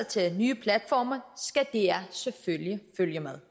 til nye platforme skal dr selvfølgelig følge med